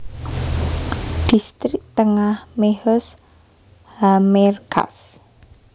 Dhistrik Tengah Mehoz HaMerkaz